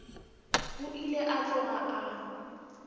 o ile a tloga a